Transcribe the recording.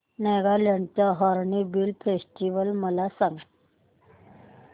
नागालँड चा hornbill festival मला सांग